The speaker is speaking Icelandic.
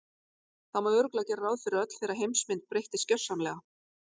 Það má örugglega gera ráð fyrir að öll þeirra heimsmynd breyttist gjörsamlega.